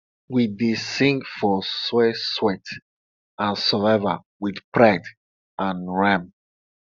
we dey sing for soil sweat and survival wit pride and rhythm